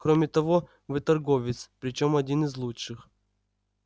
кроме того вы торговец причём один из лучших